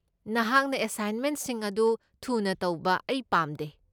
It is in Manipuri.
ꯅꯍꯥꯛꯅ ꯑꯦꯁꯥꯏꯟꯃꯦꯟꯠꯁꯤꯡ ꯑꯗꯨ ꯊꯨꯅ ꯇꯧꯕ ꯑꯩ ꯄꯥꯝꯗꯦ꯫